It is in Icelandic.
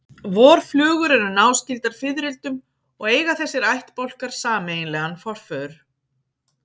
Vorflugur eru náskyldar fiðrildum og eiga þessir ættbálkar sameiginlegan forföður.